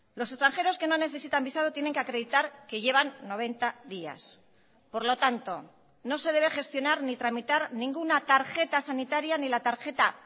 los extranjeros que no necesitan visado tienen que acreditar que llevan noventa días por lo tanto no se debe gestionar ni tramitar ninguna tarjeta sanitaria ni la tarjeta